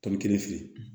Tɔbi kelen fili